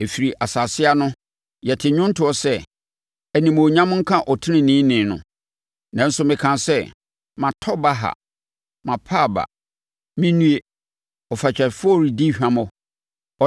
Ɛfiri asase ano, yɛte nnwontoɔ sɛ, “Animuonyam nka Ɔteneneeni no.” Nanso mekaa sɛ, “Matɔ baha, mapa aba! Me nnue! Ɔfatwafoɔ redi hwammɔ! Ɔnam nnaadaa so redi hwammɔ.”